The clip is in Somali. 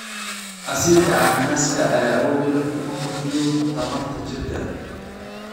Casiirka cananaaska ayaa awood u leh inuu kordhiyo tamarta jirka.